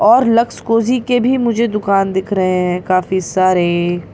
और Lux Cozi के भी मुझे दुकान दिख रहे हैं काफी सारे --